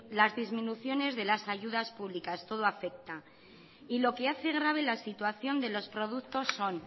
las disminuciones de las ayudas públicas todo afecta y lo que hace grave la situación de los productos son